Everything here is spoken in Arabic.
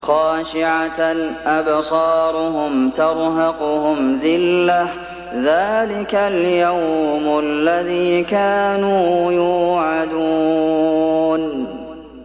خَاشِعَةً أَبْصَارُهُمْ تَرْهَقُهُمْ ذِلَّةٌ ۚ ذَٰلِكَ الْيَوْمُ الَّذِي كَانُوا يُوعَدُونَ